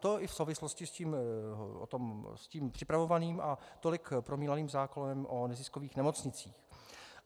To i v souvislosti s tím připravovaným a tolik omílaným zákonem o neziskových nemocnicích.